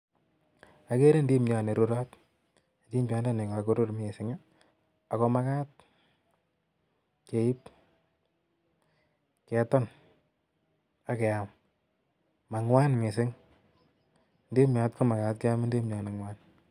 agere ndimiat nee rurat , eng negaruru missing ago magat keib keton agee amm ago ngwan missing ndimiot kimagat kemam ndimiat nee ngwan